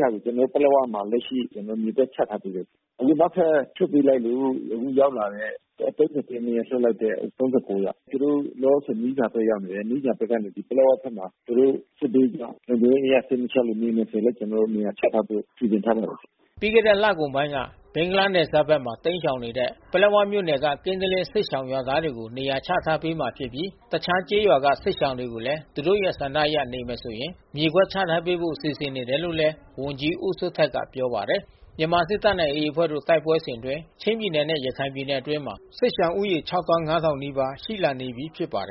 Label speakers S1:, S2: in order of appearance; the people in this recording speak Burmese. S1: ဟာတွေကျွန်တော်တို့ပလက်ဝမှာ လကရှိကျွန်တော်တို့မြေကွက်ချထားပေးတယ်။ အခုနောက်ထပ်လွှတ်ပေးလိုက်လို့ အခုရောက်လာတဲ့ ရက်နေ့ကလွှတ်လိုက်တဲ့ ယောက်။ အဲတာတွေလဲ လောလောဆယ်သူတို့မီးဇာဘက်ရောက်နေတယ်။ မီးဇာဖက်ကနေ ပလက်ဝဖက်မှာ သူတို့စစ်ဘေးရှောင် လုံခြုံရေး အရ စိတ်မချချင်လို့ နေမယ်ဆိုလဲ ကျွန်တော်တို့ နေရာချထားဖို့ စီစဉ်ထားပါတယ်။
S2: ” ပြီးခဲ့တဲ့လကုန်ပိုင်းက ဘင်္ဂလားနယ်စပ်ဖက်မှာတိမ်းရှောင်နေတဲ့ ပလက်ဝမြို့နယ်က ကင်းသလင်းစစ်ရှောင်ရွာသား တွေကို နေရာချထားပေးမှာဖြစ်ပြီး တခြားကျေးရွာက စစ်ရှောင်တွေကိုလဲ သူတို့ရဲ့ဆန္ဒအရ နေမယ်ဆိုရင် မြေကွက် ချထားဖို့စီစဉ်နေတယ်လို့လဲ ဝန်ကြီးဦးစိုးထက်ကပြောပါတယ်။ မြန်မာစစ်တပ်နဲ့AAအဖွဲ့တို့တိုက်ပွဲစဉ်အတွင်း ချင်းပြည်နယ်နဲ့ ရခိုင်ပြည်နယ်အတွင်း စစ်ရှောင်ဦးရေ နီးပါး ရှိလာနေပြီးဖြစ်ပါတယ်